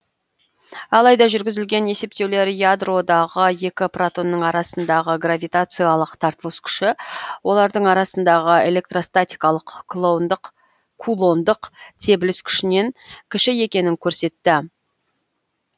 алайда жүргізілген есептеулер ядродағы екі протонның арасындағы гравитациялық тартылыс күші олардың арасындағы электростатикалық кулондық тебіліс күшінен кіші екенін көрсетті